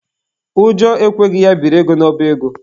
Ụjọ ekweghị ya biri ego n'ọba ego.